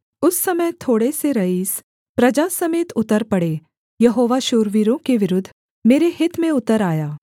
उस समय थोड़े से रईस प्रजा समेत उतर पड़े यहोवा शूरवीरों के विरुद्ध मेरे हित में उतर आया